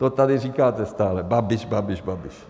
To tady říkáte stále - Babiš, Babiš, Babiš.